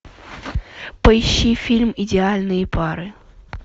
поищи фильм идеальные пары